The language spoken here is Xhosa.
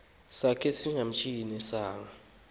sakhe simantshiyane sanga